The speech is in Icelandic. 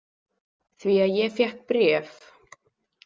Því að ég fékk bréf.